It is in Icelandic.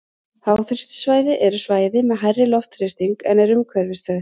Háþrýstisvæði eru svæði með hærri loftþrýsting en er umhverfis þau.